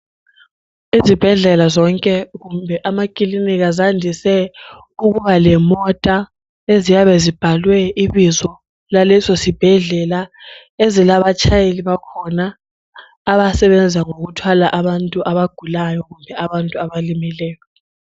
Izibhedlela zonke kumbe amakilinika zandise ukuba lemota eziyabe zibhalwe ibizo laleso sibhedlela ezilabatshayeli bakhona abasebenza ngokuthwala abantu abagulayo kumbe abantu abalimeleyo.